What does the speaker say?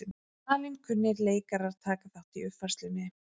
Valinkunnir leikarar taka þátt í uppfærslunni